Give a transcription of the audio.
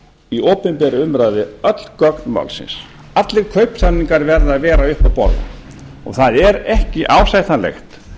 í opinberri umræðu öll gögn málsins allir kaupsamningar verða að vera uppi á borðinu það er ekki ásættanlegt